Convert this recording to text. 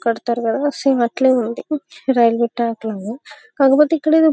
కడతారు కదా సేమ్ అట్లాగే ఉంది రైల్వే ట్రాక్ లాగా కాకపోతి ఎక్కడ ఏదో --